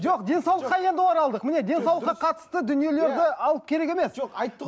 жоқ денсаулыққа енді оралдық міне денсаулыққа қатысты дүниелерді алып керек емес жоқ айтты ғой